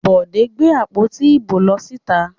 Bọ̀dé gbé àpótí ìbò lọ síta.